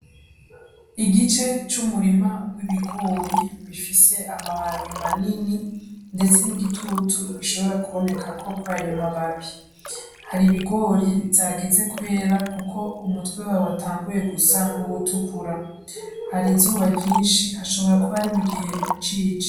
Igice c'umurima w'ibigori bifise amababi manini, ndetse n'igitutu gishobora kubonekako kurayo mababi, hari ibigori vyageze kwera kuko umutwe wavyo watanguye gusa nk'uwutukura, hari izuba ryinshi hashobora kuba ari mugihe cici.